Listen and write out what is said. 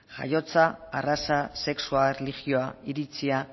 jaiotza arraza sexua erlijioa iritzia